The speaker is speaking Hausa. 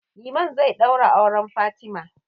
Liman zai ɗaura auren Fatima.